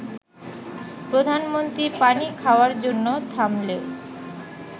প্রধানমন্ত্রী পানি খাওয়ার জন্য থামলে